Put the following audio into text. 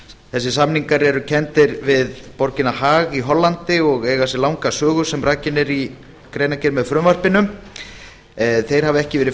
þessir samningar eru kenndir við borgina haag í hollandi og eiga sér langa sögu sem rakin er í greinargerð með frumvarpinu þeir hafa ekki verið